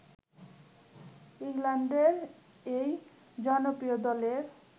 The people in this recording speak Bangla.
ইংল্যান্ডের এই জনপ্রিয় দলের